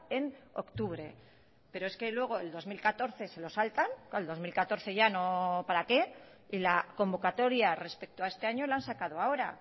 en octubre pero es que luego el dos mil catorce se lo saltan el dos mil catorce para qué y la convocatoria respecto a este año lo han sacado ahora